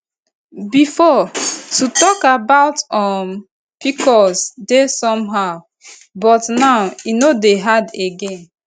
before to talk about um pcos dey somehow but now e no dey hard again